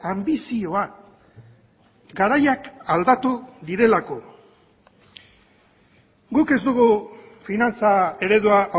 anbizioa garaiak aldatu direlako guk ez dugu finantza eredua